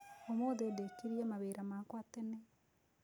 Ũmũthi ndekirĩe mawĩra makwa tene